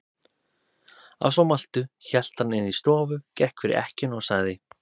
Að svo mæltu hélt hann inn í stofu, gekk fyrir ekkjuna og sagði